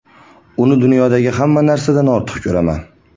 Uni dunyodagi hamma narsadan ortiq ko‘raman.